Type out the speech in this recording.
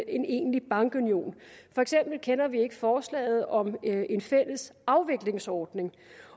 en egentlig bankunion for eksempel kender vi ikke forslaget om en fælles afviklingsordning